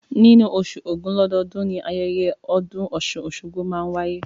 Nínú oṣù ògún lọ́dọọ́dun, ni ayẹyẹ ọdún ọ̀ṣun-oṣogbo tí máa n wáyé